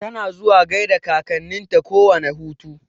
Tana zuwa gaida kakanninta kowane hutu.